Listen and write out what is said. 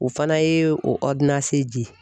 O fana ye o di